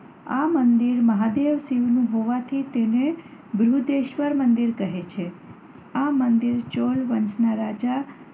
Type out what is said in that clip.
આ મંદિર મહાદેવ શિવનું હોવાથી તેને બૃહદેશ્વર મંદિર કહે છે. આ મંદિર ચોલ વંશના રાજા